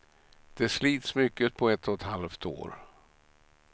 Det slits mycket på ett och ett halvt år.